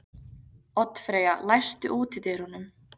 Oddfreyja, læstu útidyrunum.